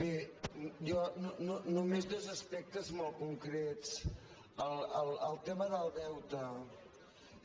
bé jo només dos aspectes molt concrets el tema del deute